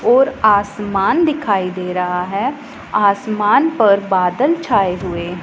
और आसमान दिखाई दे रहा है आसमान पर बादल छाए हुए।